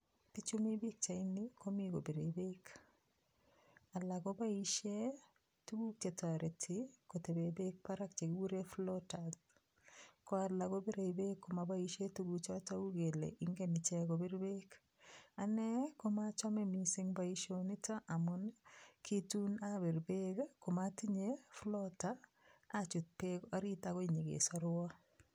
Bichu mi pikchaini komi kobirei beek alak koboishe tukuk chetoreti kotebe beek barak chekikure floaters ko olak kobirei beek komaboishe tukuchoton uu kele ngen check kobir beek ane koachome mising' boishonito amun ki tuun abir beek komatinye floater achut beek orit akoi nyikesorwo